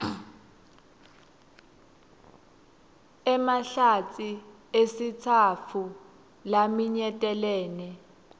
emahlatsi esitsatfu laminyetelene